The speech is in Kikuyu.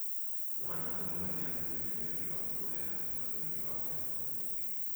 Mwana ũmwe nĩ akuĩte nĩ ũndũ wa kũheha muno nĩ ũndũ wa heho nyingĩ.